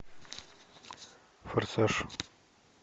форсаж